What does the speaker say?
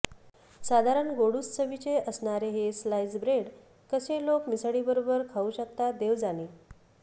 साधारण गोडूस चवीचे असणारे हे स्लाईस ब्रेड कसे लोक मिसळीबरोबर खाऊ शकतात देव जाणे